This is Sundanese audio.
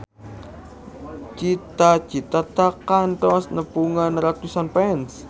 Cita Citata kantos nepungan ratusan fans